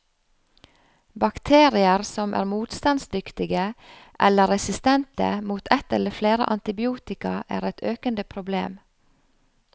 Bakterier som er motstandsdyktige, eller resistente, mot et eller flere antibiotika, er et økende problem.